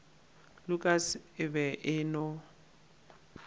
lukas e be e no